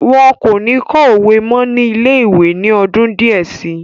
Wọn kò ní kọ́ òwe mọ́ ní ilé-ìwé ní ọdún díẹ̀ si.